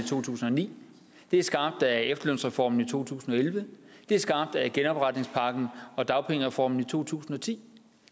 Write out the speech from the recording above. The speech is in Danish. i to tusind og ni det er skabt af efterlønsreformen i to tusind og elleve det er skabt af genopretningspakken og dagpengereformen i to tusind og ti